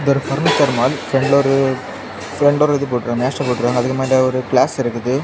ஒரு furniture mall பிராண்ட்ல ஒரு அதுக்கு மேல ஒரு கிளாஸ் இருக்குது.